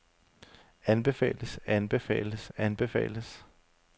anbefales anbefales anbefales